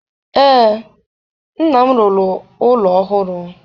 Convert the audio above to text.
Ee, nna m rụrụ ụlọ ọhụrụ.